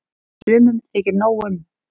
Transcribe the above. Sumum þykir nóg um.